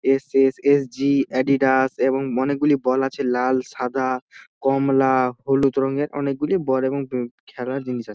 SSSG. Adidas এবং অনেক গুলি বল আছে লাল সাদা কমলা হলুদ রঙের অনেক গুলি বল এবং খেলার জিনিস আছে।